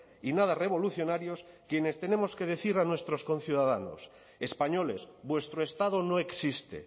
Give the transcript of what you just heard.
y nada revolucionarios quienes tenemos que decir a nuestros conciudadanos españoles vuestro estado no existe